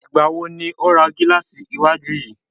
Ìgbà wo ni o ra gílàsì iwájú yìí?